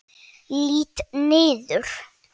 Lít niður.